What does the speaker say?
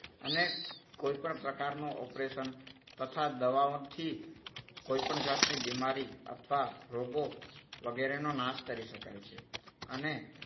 અને કોઈપણ પ્રકારનું ઓપરેશન તથા દવાઓથી કોઈપણ જાતની બીમારી અથવા રોગો વગેરેનો નાશ કરી શકાય છે. અને